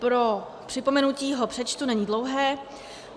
Pro připomenutí ho přečtu, není dlouhý: